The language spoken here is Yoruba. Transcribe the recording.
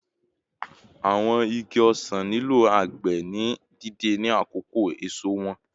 Awọn igi osan nilo agbe ni deede ni akoko eso wọn